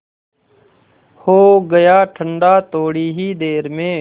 हो गया ठंडा थोडी ही देर में